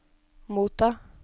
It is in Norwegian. motta